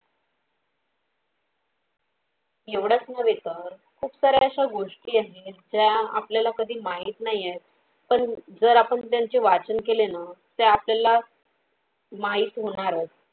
एवढं च नव्हे तर खूप सार्‍या अशा गोष्टी आहेत त्या आपल्याला कधी माहित नाही पण जर आपण त्यांचे वाचून केले न त्या आपल्याला माहित होणार.